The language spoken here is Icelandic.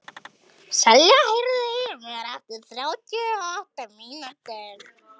Selja, heyrðu í mér eftir þrjátíu og átta mínútur.